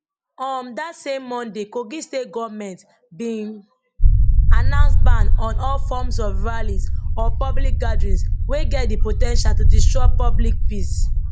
um dat same monday kogi state goment bin announce ban on all forms of rallies or public gatherings wey get di po ten tial to disrupt public peace